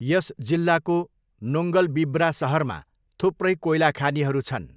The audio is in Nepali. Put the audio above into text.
यस जिल्लाको नोङ्गलबिब्रा सहरमा थुप्रै कोइला खानीहरू छन्।